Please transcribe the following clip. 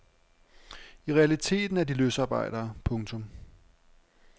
I realiteten er de løsarbejdere. punktum